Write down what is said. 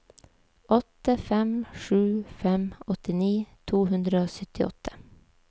åtte fem sju fem åttini to hundre og syttiåtte